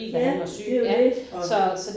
Ja det jo det og